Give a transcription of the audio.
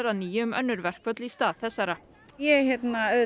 að nýju um önnur örverkföll í stað þessara ég